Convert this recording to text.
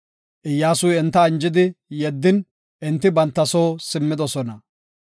Iyyasuy enta anjidi yeddin enti banta soo simmidosona.